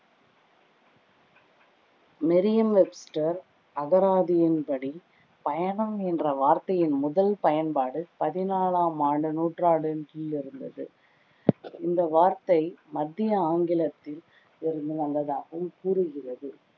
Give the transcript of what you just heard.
Miriam Webster அகராதியின் படி பயணம் என்ற வார்த்தையின் முதல் பயன்பாடு பதினாலாம் ஆண்டு நூற்றாண்டின் கீழ் இருந்தது இந்த வார்த்தை மத்திய ஆங்கிலத்தில் இருந்து வந்ததாகவும் கூறுகிறது